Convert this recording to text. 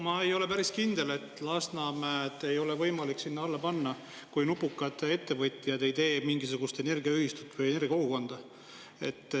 Ma ei ole päris kindel, et Lasnamäed ei oleks võimalik sinna alla panna, kui nupukad ettevõtjad teeksid mingisuguse energiaühistu või energiakogukonna.